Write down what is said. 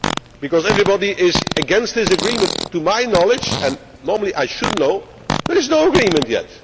Because everybody is against this agreement to my knowledge and I should know but there is no agreement